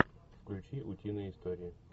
включи утиные истории